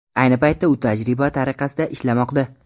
Ayni paytda u tajriba tariqasida ishlamoqda.